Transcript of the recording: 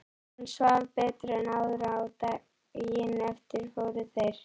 Hann svaf betur en áður og daginn eftir fóru þeir